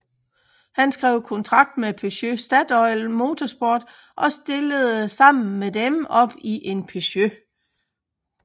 Han skrev kontrakt med Peugeot Statoil Motorsport og stillede sammen med dem op i en Peugeot